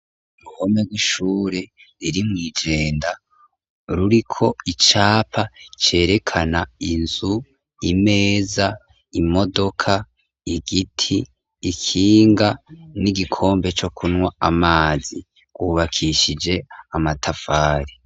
Uruhome rw’ishure riri mw’i Jenda ruriko icapa cerekana inzu, imeza, imodoka, igiti, ikinga n’igikombe co kunywa amazi, rwubakishije amatafari.